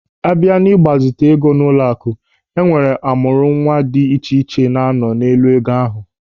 Abịa n'ịgbazite ego n'ụlọaku, enwere ọmụrụnwa dị iche iche na-anọ n'elu ego ahụ.